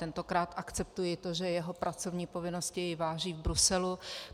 Tentokrát akceptuji to, že jeho pracovní povinnosti jej vážou v Bruselu.